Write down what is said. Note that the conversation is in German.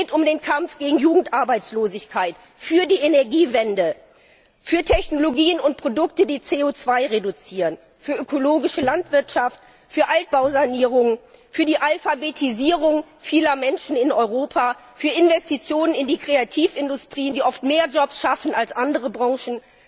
Es geht um den Kampf gegen Jugendarbeitslosigkeit, für die Energiewende, für Technologien und Produkte, die CO 2 reduzieren, für ökologische Landwirtschaft, für Altbausanierung, für die Alphabetisierung vieler Menschen in Europa, für Investitionen in die Kreativindustrien, die oft mehr Jobs schaffen als andere Branchen.